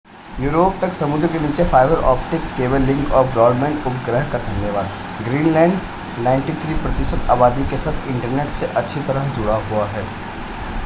Europe तक समुद्र के नीचे फाइबर ऑप्टिक केबल लिंक और ब्रॉडबैंड उपग्रह का धन्यवाद ग्रीनलैंड 93% आबादी के साथ इंटरनेट से अच्छी तरह से जुड़ा हुआ है